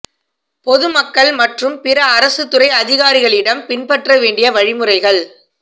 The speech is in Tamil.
பொதுமக்கள் மற்றும் பிற அரசு துறை அதிகாரிகளிடம் பின்பற்ற வேண்டிய வழிமுறைகள்